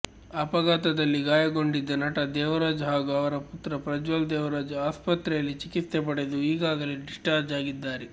ಅಪಘಾತದಲ್ಲಿ ಗಾಯಗೊಂಡಿದ್ದ ನಟ ದೇವರಾಜ್ ಹಾಗೂ ಅವರ ಪುತ್ರ ಪ್ರಜ್ವಲ್ ದೇವರಾಜ್ ಆಸ್ಪತ್ರೆಯಲ್ಲಿ ಚಿಕಿತ್ಸೆ ಪಡೆದು ಈಗಾಗಲೇ ಡಿಸ್ಚಾರ್ಜ್ ಆಗಿದ್ದಾರೆ